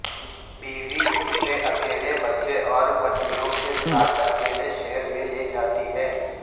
بیوی اسے اکیلے بچے اور پتیوں کے ساتھ اکیلے شہر میں لے جاتی ہے